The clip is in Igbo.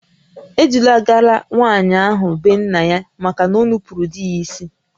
E dulagara nwaanyị ahụ be nna ya maka na o nupuuru di ya isi